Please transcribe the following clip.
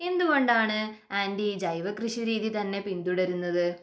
എന്തുകൊണ്ടാണ് ആൻറി ജൈവകൃഷിരീതി തന്നെ പിന്തുടരുന്നത്?